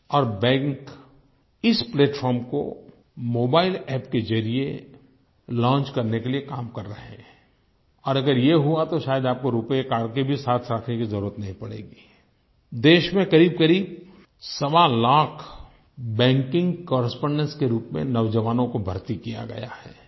और बैंक इस प्लैटफार्म को मोबाइल अप्प के ज़रिये लॉन्च करने के लिए काम कर रहे हैं और अगर ये हुआ तो शायद आपको रूपे कार्ड को साथ रखने की भी ज़रूरत नहीं पड़ेगीI देश में क़रीबक़रीब सवालाख बैंकिंग कॉरेस्पोंडेंट्स के रूप में नौजवानों को भर्ती किया गया है